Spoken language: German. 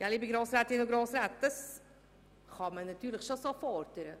Liebe Grossrätinnen und Grossräte, das kann man durchaus fordern.